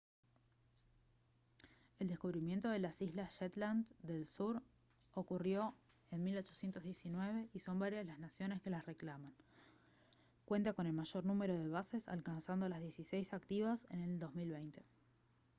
el descubrimiento de las islas shetland del sur ocurrió en 1819 y son varias las naciones que las reclaman cuentan con el mayor número de bases alcanzando las dieciséis activas en el 2020